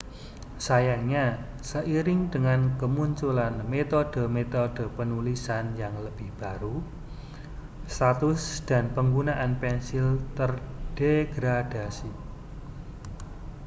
sayangnya seiring dengan kemunculan metode-metode penulisan yang lebih baru status dan penggunaan pensil terdegradasi